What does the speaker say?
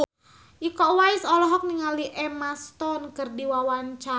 Iko Uwais olohok ningali Emma Stone keur diwawancara